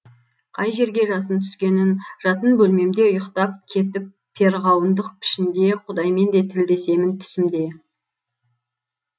қай жерге жасын түскенін жатын бөлмемде ұйықтап кетіп перғауындық пішінде құдаймен де тілдесемін түсімде